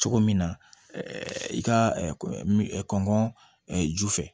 Cogo min na i ka kɔngɔ ju fɛ